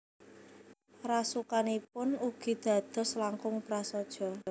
Rasukanipun ugi dados langkung prasaja